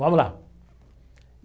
Vamos lá.